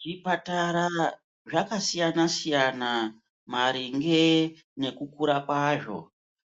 Zvipatara zvakasiyanasiyana maringe nekukura kwazvo